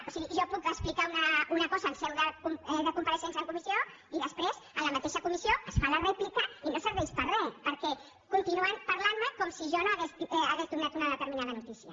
o sigui jo puc explicar una cosa en seu de compareixença en comissió i després a la mateixa comissió es fa la rèplica i no serveix per re perquè continuen parlant me com si jo no hagués donat una determinada notícia